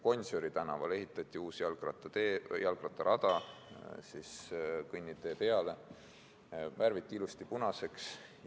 Gonsiori tänavale ehitati kõnnitee peale uus jalgrattarada, värviti ilusti punaseks.